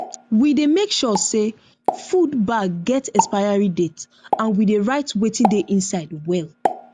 we dey make sure say food bag get expiry date and we dey write wetin dey inside well